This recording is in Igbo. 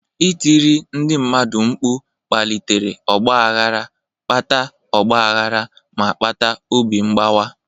Ịtiri ndị mmadụ mkpu kpalitere ọgba aghara, kpata ọgba aghara, ma kpata obi mgbawa.